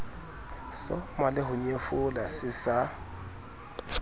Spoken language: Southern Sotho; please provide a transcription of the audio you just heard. soma leho nyefola se sa